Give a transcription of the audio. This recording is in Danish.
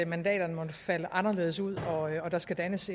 mandaterne måtte falde anderledes ud og der skal dannes